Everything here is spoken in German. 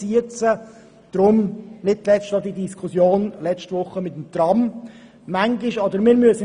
Deshalb führten wir nicht zuletzt auch letzte Woche die Diskussion über das Tram.